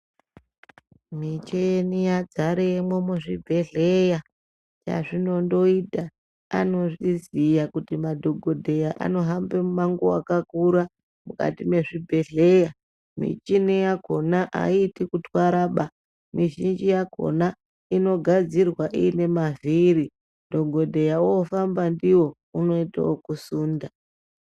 Micheni yadzaremwo muzvibhedhlera, chazvinondoita anozviziya kuti madhogodheya anohambe mumango wakakura mukati mezvibhedhlera. Michini yakhona aiiti kutwara baa mizhinji yakhona inogadzirwa iine mavhiri dhogodheya oofamba ndiwo unoita okusunda.